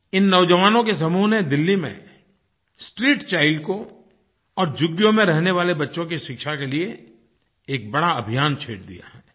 इन नौज़वानों के समूह ने दिल्ली में स्ट्रीट चाइल्ड को और झुग्गियों में रहने वाले बच्चों की शिक्षा के लिए एक बड़ा अभियान छेड़ दिया है